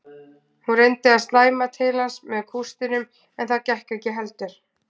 Hún reyndi að slæma til hans með kústinum en það gekk ekki heldur.